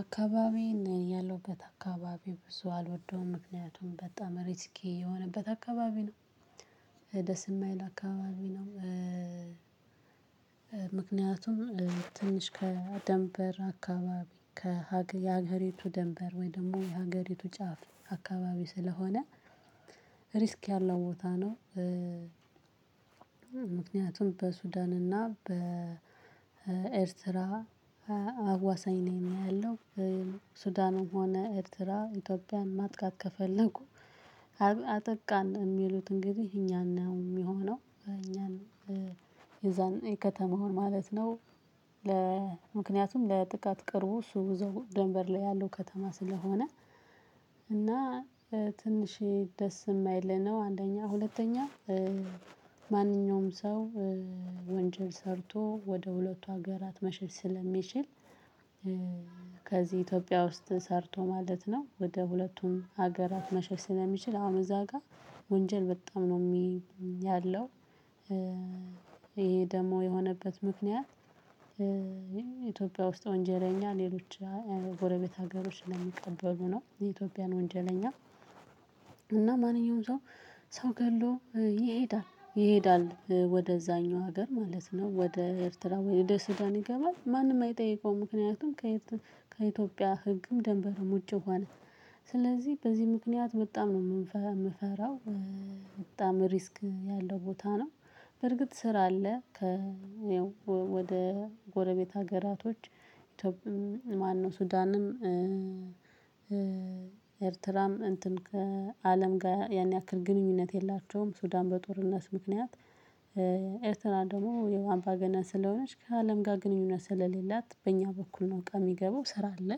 አካባቢ ያለውበት አካባቢ ብዙ አልወደውም ምክንያቱም በጣም ሪስኬ የሆነበት አካባቢ ነው። ደስ የማይል አካባቢ ነው። ምክንያቱም ትንሽ ከደንበር አካባቢ ከሀገሪቱ ደንበር ወይም ደግሞ የሀገሪቱ ጫፍ አካባቢ ስለሆነ ሪስክ ያለው ቦታ ነው። በሱዳን እና በኤርትራ አዋሳኝ ነው ያለው ሱዳኑም ሆነ ኤርትራ ኢትዮጵያን ማጥቃት ከፈለኩ። አጠቃን የሚሉትን ጊዜ እኛን ነው የሚሆነው እኛን የዛን የከተማውን ማለት ነው። ለምክንያቱም ለጥቃት ቅርቡ እሱ ወደ ደንበር ላይ ያለው ከተማ ስለሆነ። ትንሽ ደስ የማይል ነው። አንደኛ ሁለተኛ ማንኛውም ሰው ወንጀል ሰርቶ ወደ ሁለቱ ሀገራት መሸሽ ስለሚችል። ከዚህ ኢትዮጵያ ውስጥ ሰርቶ ማለት ነው ወደ ሁለቱም ሀገራት መሸሽ ስለሚችል አሁን እዛ ጋር ወንጀል በጣም ነው ያለው። ይሄ ደግሞ የሆነበት ምክንያት። ኢትዮጵያ ውስጥ ወንጀለኛ ሌሎች ጎረቤት ሀገሮች ለሚቀበሉ ነው የኢትዮጵያን ወንጀለኛ። እና ማንኛውም ሰው ሰው ገድሎ ይሄዳል ይሄዳል ወደዛኛው ሀገር ማለት ነው። ወደ ኤርትራ ወይ ወደ ሱዳን ይገባል ማንም አይጠይቀውም ምክንያቱም። ከኢትዮጵያ ህግም ደንበሩም ውጪ ሆነ ስለዚህ በዚህ ምክንያት በጣም ነው የምፈራው በጣም ሪስክ ያለው ቦታ ነው። በርግጥ ስራ አለ። ወደ ጎረቤት ሀገራቶች ኢትዮጵያም ማነው ሱዳንም ኤርትራም እንትን ከአለም ጋር ያን ያክል ግንኙነት የላቸውም። ሱዳን በጦርነት ምክንያት። ኤርትራ ደግሞ አምባገነን ስለሆነች ከአለም ጋር ግንኙነት ስለሌላት በእኛ በኩል ነው በቃ የሚገባው ስራ አለ።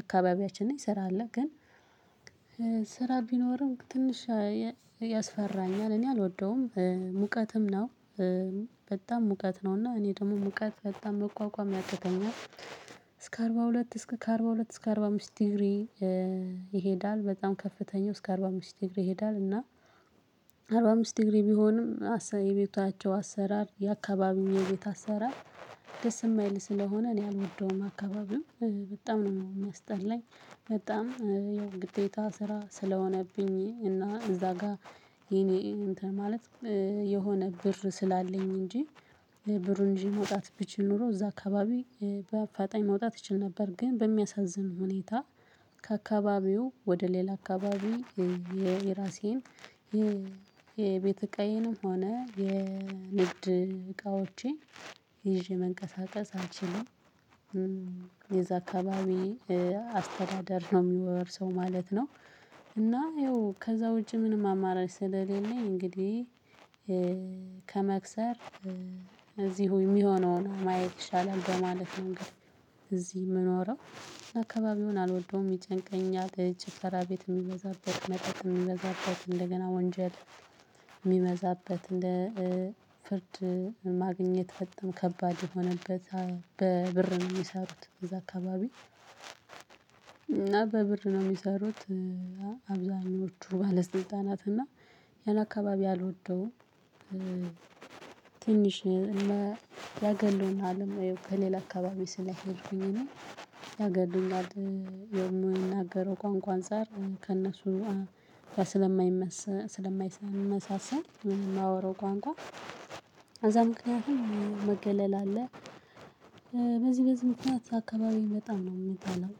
አካባቢያችን ነኝ ስራ አለ ግን። ስራ ቢኖርም ትንሽ ያስፈራኛል እኔ አልወደውም ሙቀትም ነው። በጣም ሙቀት ነው እና እኔ ደግሞ ሙቀት በጣም መቋቋም ያቅተኛል። እስከ አርባ ሁለት እስከ አርባ ሁለት እስከ አርባ አምስት ዲግሪ ይሄዳል በጣም ከፍተኛው እስከ አርባ አምስት ዲግሪ ይሄዳል እና። አርባ አምስት ዲግሪ ቢሆንም የቤታቸው አሰራር የአካባቢው የቤት አሰራር ደስ የማይል ስለሆነ እኔ አልወደውም አካባቢው። በጣም ነው የሚያስጠላኝ በጣም ያው ግዴታ ስራ ስለሆነብኝ እና እዛ ጋር። የኔ እንትን ማለት የሆነ ብር ስላለኝ እንጂ። ብሩ እንጂ መውጣት ብችል ኖሮ እዛ አካባቢ በአፋጣኝ መውጣት ይችል ነበር። ግን በሚያሳዝን ሁኔታ ከአካባቢው ወደ ሌላ አካባቢ። የራሴን የቤት እቃየንም ሆነ የንግድ እቃዎቼ ይዤ መንቀሳቀስ አልችልም። የዛ አካባቢ አስተዳደር ነው የሚወርሰው ማለት ነው። እና ይኸው ከዛ ውጪ ምንም አማራጭ ስለሌለ እንግዲህ ከመክሰር እዚህ ሁኜ የሚሆነውን ማየት ይሻላል በማለት ነው እንግዲህ እዚህ የምኖረው። አካባቢውን አልወደውም ይጨንቀኛል ጭፈራ ቤት የሚበዛበት መጠጥ የሚበዛበት እንደገና ወንጀል የሚበዛበት እንደ ፍርድ ማግኘት በጣም ከባድ የሆነበት በብር ነው የሚሰሩት እዛ አካባቢ። እና በብር ነው የሚሰሩት አብዛኞቹ ባለስልጣናት እና ያን አካባቢ አልወደውም። ትንሽ እና ያገሉናልም ከሌላ አካባቢ ስለሄድኩኝ እኔ ያገሉናል የምንናገረው ቋንቋ አንፃር ከእነሱ ስለማይመሰ ስለማይመሰሰም የማወራው ቋንቋ አዛ ምክንያቱም መገለል አለ። በዚህ በዚህ ምክንያት አካባቢው በጣም ነው የምጠለው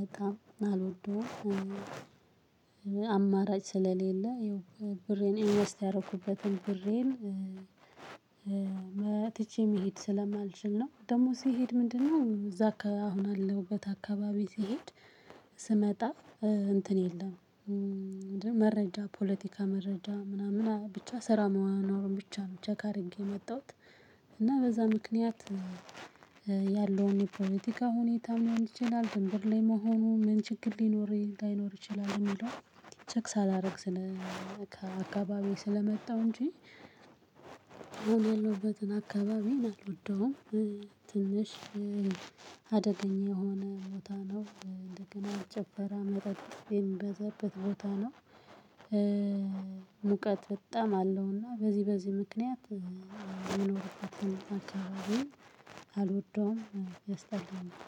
በጣም አልወደውም። አማራጭ ስለሌለ ይኸው ብሬን ኢንቨስት ያደረኩበትን ብሬን ትቼ መሄድ ስለማልችል ነው ደግሞ ሲሄድ ምንድነው? እዛ አሁን አለውበት አካባቢ ሲሄድ ስመጣ እንትን የለም። መረጃ ፖለቲካ መረጃ ምናምን ብቻ ስራ መሆን ብቻ ነው ቼክ አድርጌ የመጣሁት። እና በዛ ምክንያት። ያለውን ፖለቲካ ሁኔታ መሆን ይችላል ድንበር ላይ መሆኑ ምን ችግር ሊኖር አይኖር ይችላል የሚለው? ቼክ ሳላደርግ ስለ ስለመጣው እንጂ። የሆነለበትን አካባቢ አልወደውም። ትንሽ አደገኛ የሆነ ቦታ ነው እንደገና ጭፈራ መጠጥ የሚበዛበት ቦታ ነው። ሙቀት በጣም አለውና በዚህ በዚህ ምክንያት የሚኖርበትን አካባቢ አልወደውም ያስጠላኛል